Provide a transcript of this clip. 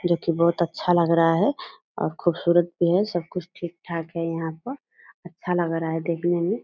जो की बहुत अच्छा लग रहा है और खूबसूरत भी है। सबकुछ ठीक-ठाक है यहाँ पर। अच्छा लग रहा है देखने में।